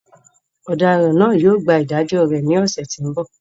Ọ̀daràn náà yóò gba ìdájọ́ rẹ̀ ní ọ̀sẹ̀ tí ó ń bọ̀